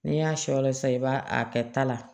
N'i y'a shɔ la sisan i b'a a kɛ ta la